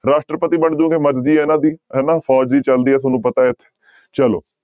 ਰਾਸ਼ਟਰਪਤੀ ਬਣ ਜਾਓਗੇ ਮਰਜ਼ੀ ਹੈ ਇਹਨਾਂ ਦੀ ਹਨਾ ਫ਼ੋਜ਼ ਦੀ ਚੱਲਦੀ ਹੈ ਤੁਹਾਨੂੰ ਪਤਾ ਹੈ, ਚਲੋ।